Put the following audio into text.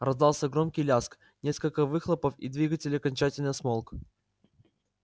раздался громкий лязг несколько выхлопов и двигатель окончательно смолк